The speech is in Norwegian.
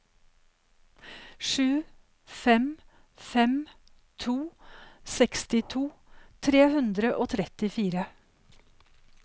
sju fem fem to sekstito tre hundre og trettifire